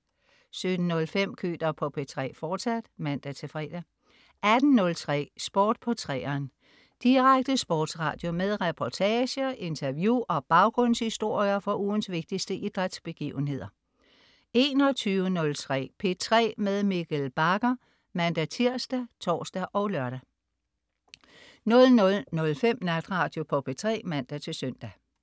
17.05 Køter på P3, fortsat (man-fre) 18.03 Sport på 3'eren. Direkte sportsradio med reportager, interview og baggrundshistorier fra ugens vigtigste idrætsbegivenheder 21.03 P3 med Mikkel Bagger (man-tirs, tors og lør) 00.05 Natradio på P3 (man-søn)